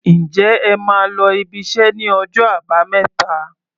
Ǹjẹ́ ẹ máa lọ ibiṣẹ́ ní ọjọ́ Àbámẹ́ta?